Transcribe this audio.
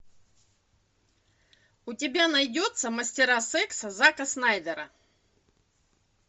у тебя найдется мастера секса зака снайдера